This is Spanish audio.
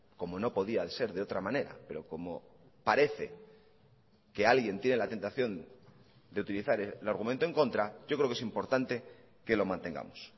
como no podía ser de otra manera pero como parece que alguien tiene la tentación de utilizar el argumento en contra yo creo que es importante que lo mantengamos